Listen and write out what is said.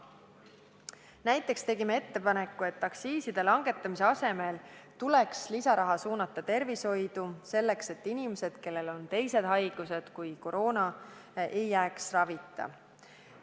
Näiteks tegime ettepaneku, et aktsiiside langetamise asemel tuleks lisaraha suunata tervishoidu, selleks et inimesed, kellel on teised haigused kui koroona, ei jääks ravita.